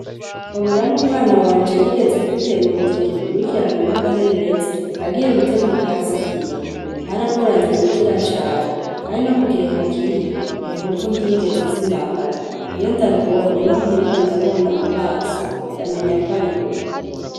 Kabura n'umwana wanje yigeze kwitema urutoki rukurikirana n'agahererezi agiye gute ubwatsi bw'inka ,karagoranye gukira cane kandi no mugihe hakiri iyo nkovu ntiyigeze iz'imangana, iyo ndarubonye n'aho ntirirwa ndamubona mu maso ndamenya ko ari we.